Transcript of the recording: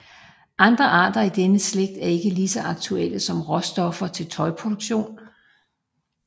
Andre arter i denne slægt er ikke lige så aktuelle som råstoffer til tøjproduktion